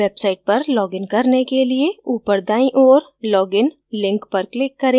website पर login करने के लिए उपर दाईं ओर log in link पर click करें